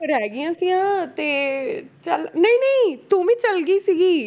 ਰਹਿ ਗਈਆਂ ਤੇ ਚੱਲ ਨਹੀਂ ਨਹੀਂ ਤੂੰ ਵੀ ਚੱਲ ਗਈ ਸੀਗੀ।